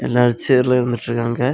நாலு ஷேர்ல இருந்துட்டு இருக்காங்க.